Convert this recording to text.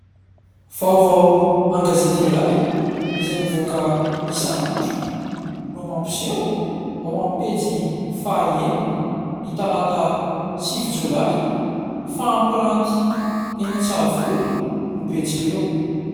Vaovao an-gazety iray izay mivoaka isan'andro, no mampiseho ao amin'ny pejy fahaenina, ny talata sivy jolay fa : "Hampiranty eny Antsahavola ny Betsileo".